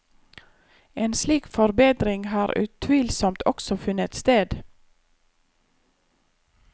En slik forbedring har utvilsomt også funnet sted.